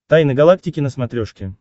тайны галактики на смотрешке